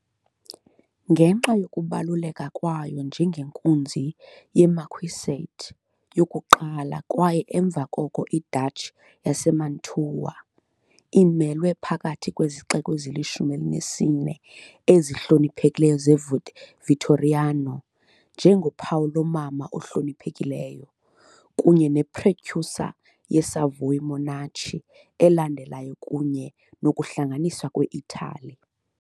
Ngenxa yokubaluleka kwayo njengenkunzi ye -marquisate yokuqala kwaye emva koko i-duchy yaseMantua, imelwe phakathi kwezixeko ezilishumi elinesine ezihloniphekileyo zeVittoriano, njengophawu "lomama ohloniphekileyo" kunye ne-precursor ye- Savoy monarchy elandelayo kunye nokuhlanganiswa kwe-Italy .